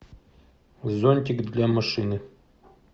зонтик для машины